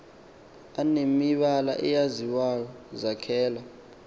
anemibala eyaziwayo zakhwela